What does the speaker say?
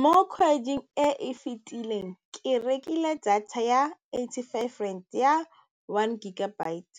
Mo kgweding e e fetileng, ke rekile data ya eighty-five rand ya one gigabyte